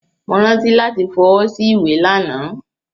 Mo rántí lati f'ọwọ́ sí ìwé lana.